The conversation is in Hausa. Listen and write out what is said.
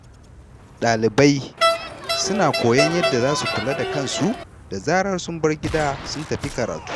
Ɗalibai suna koyon yadda za su kula da kansu da zarar sun bar gida sun tafi karatu.